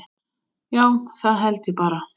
Já, það held ég bara.